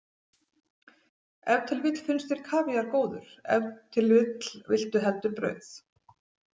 Ef til vill finnst þér kavíar góður, ef til vill viltu heldur brauð.